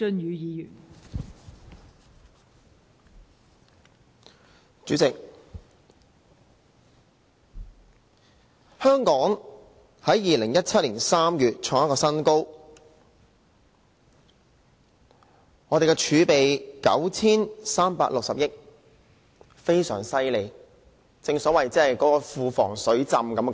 代理主席，香港在2017年3月創出一個新高，我們的儲備有 9,360 億元，非常厲害，正所謂"庫房水浸"。